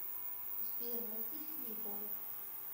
сбер найди фишбол